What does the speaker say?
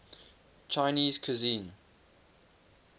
chinese cuisine